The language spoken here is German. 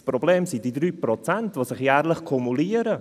Das Problem sind die 3 Prozent, die sich jährlich kumulieren.